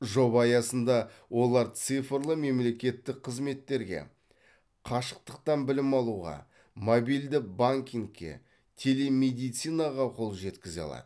жоба аясында олар цифрлы мемлекеттік қызметтерге қашықтықтан білім алуға мобильді банкингке телемедицинаға қол жеткізе алады